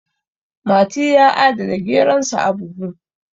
mati ya adana geronsa a buhu